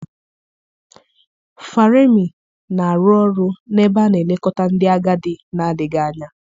Faremi na-arụ ọrụ n'ebe a na-elekọta ndị agadi na-adịghị anya.